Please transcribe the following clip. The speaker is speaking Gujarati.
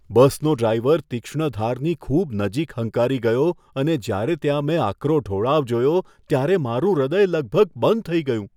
બસનો ડ્રાઈવર તીક્ષ્ણ ધારની ખૂબ નજીક હંકારી ગયો અને જ્યારે ત્યાં મેં આકરો ઢોળાવ જોયો, ત્યારે મારું હૃદય લગભગ બંધ થઈ ગયું.